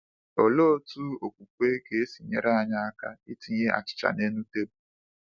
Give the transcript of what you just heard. Olee otú okwukwe ga-esi nyere aka itinye achịcha n’elu tebụl?